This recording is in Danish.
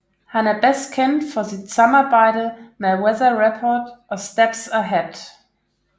Han er bedst kendt for sit samarbejde med Weather Report og Steps Ahead